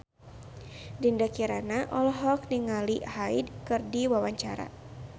Dinda Kirana olohok ningali Hyde keur diwawancara